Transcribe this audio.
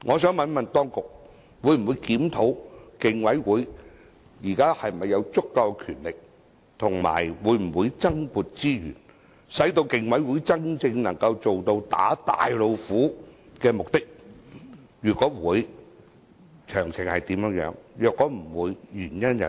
請問當局會否檢討競委會現時是否有足夠權力，而且會否增撥資源，使競委會能夠真正達到"打大老虎"的目的？如會，詳情為何；如否，原因為何？